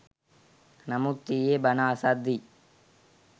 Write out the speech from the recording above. නමුත් ඊයෙ බණ අසද්දී